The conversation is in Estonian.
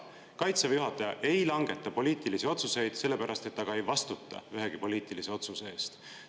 Kaitseväe juhataja ei langeta poliitilisi otsuseid sellepärast, et ta ka ei vastuta ühegi poliitilise otsuse eest.